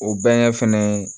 O bɛngɛ fɛnɛ